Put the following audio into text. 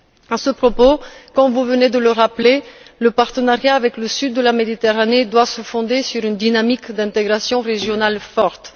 À ce propos, et comme vous venez de le rappeler, le partenariat avec le sud de la Méditerranée doit se fonder sur une dynamique d'intégration régionale forte.